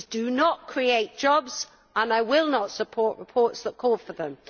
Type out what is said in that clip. these do not create jobs and I will not support reports that call for them.